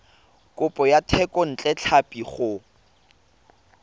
kopo ya thekontle tlhapi go